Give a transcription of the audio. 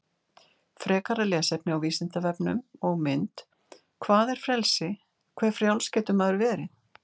Frekara lesefni á Vísindavefnum og mynd Hvað er frelsi, hve frjáls getur maður verið?